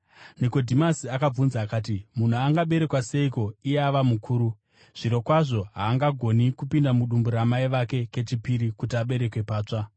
Nikodhimasi akabvunza akati, “Munhu angaberekwa seiko iye ava mukuru? Zvirokwazvo haangagoni kupinda mudumbu ramai vake kechipiri kuti aberekwe patsva!”